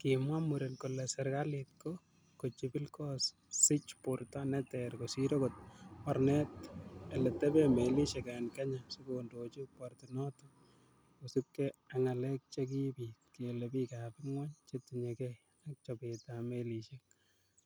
Kimwa muren kole"Serkalit ko kochibil kosich borto neter kosir okot Mornetab eleteben melisiek en Kenya sikondoji portinoton kosiibge ak ngalek che kiibit kele bik ab ingwony chetinye gey ak chobetab melisiek